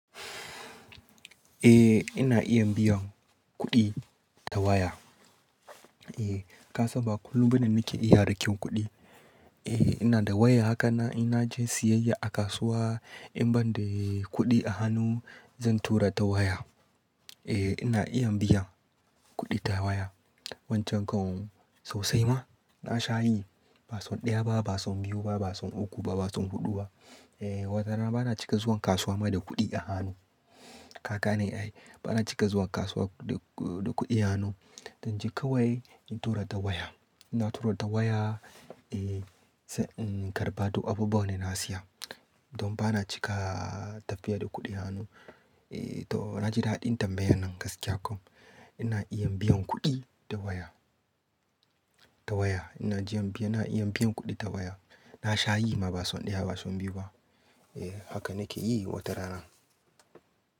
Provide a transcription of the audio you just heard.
Eh ina iya biyan kuɗi ta waya. Eh ka san ba kullum bane nake iya rakin kuɗi. Eh ina da waya haka na ina je siyayya a kasuwa in banda yi kuɗi a hannu zan tura ta waya. Eh ina iya biyan kuɗi ta waya. Wancan kawun sosai ma na sha yi, ba son ɗaya ba, ba son biyu ba, ba son uku ba, ba son huɗu ba. Eh watarana bana cika zuwan kasuwa ma da kuɗi a hannu. Ka gane ai bana cika zuwa kasuwa da kuɗi a hannu. Zan je kawai in tura ta waya. Ina tura ta waya, eh sai in karɓa duk abubuwa ne na siya. Don bana cika tafiya da kuɗi a hannu. Eh to na ji daɗin tambayan nan gaskiya kam ina iya biyan kuɗi ta waya, ta waya. Ina iya biyan kuɗi ta waya. Na sha yi ma ba son ɗaya ba, son biyu ba. Eh haka nake yi watarana.